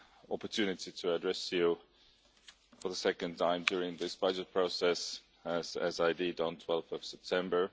opportunity to address you for the second time during this budget process, as I did on 12 September.